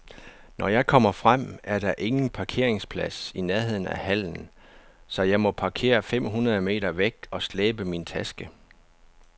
Når jeg kommer frem, er der ingen parkeringsplads i nærheden af hallen, så jeg må parkere fem hundrede meter væk og slæbe min taske.